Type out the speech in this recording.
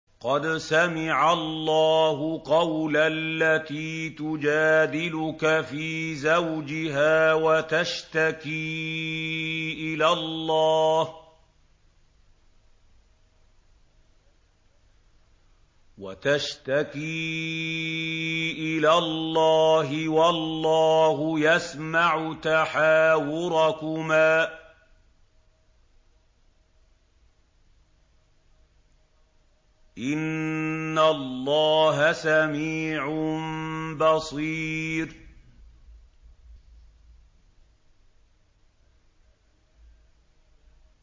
قَدْ سَمِعَ اللَّهُ قَوْلَ الَّتِي تُجَادِلُكَ فِي زَوْجِهَا وَتَشْتَكِي إِلَى اللَّهِ وَاللَّهُ يَسْمَعُ تَحَاوُرَكُمَا ۚ إِنَّ اللَّهَ سَمِيعٌ بَصِيرٌ